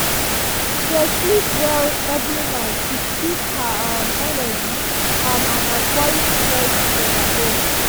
she dey sleep well every night to keep her um energy up and avoid um stress overload. um